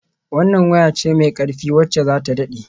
Wannan waya ce mai ƙarfi wacce za ta daɗe.